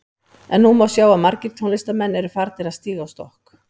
En nú má sjá að margir tónlistarmenn eru að farnir að stíga á stokk.